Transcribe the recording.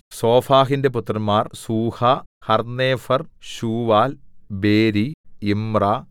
സോഫഹിന്റെ പുത്രന്മാർ Suah Harnepher Shual Beri Imrah